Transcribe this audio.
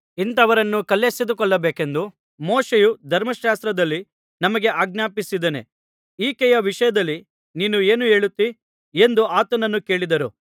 ಇಂಥವರನ್ನು ಕಲ್ಲೆಸೆದು ಕೊಲ್ಲಬೇಕೆಂದು ಮೋಶೆಯು ಧರ್ಮಶಾಸ್ತ್ರದಲ್ಲಿ ನಮಗೆ ಆಜ್ಞಾಪಿಸಿದ್ದಾನೆ ಈಕೆಯ ವಿಷಯದಲ್ಲಿ ನೀನು ಏನು ಹೇಳುತ್ತೀ ಎಂದು ಆತನನ್ನು ಕೇಳಿದರು